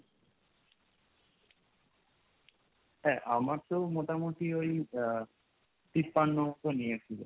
হা আমার তো মোটামুটি ওই আহ তিপান্ন মতো নিয়েছিল।